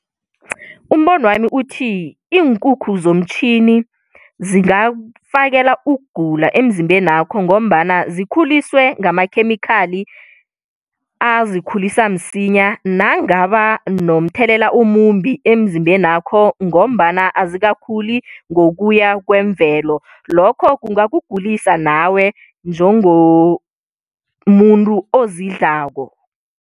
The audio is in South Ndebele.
Umbonwami uthi iinkukhu zomtjhini zingakufakela ukugula emzimbenakho, ngombana zikhuliswe ngamakhemikhali azikhulisa msinya nangaba nomthelela omumbi emzimbenakho, ngombana azikakhuli ngokuya kwemvelo. Lokho kungakugulisa nawe njengomuntu ozidlako.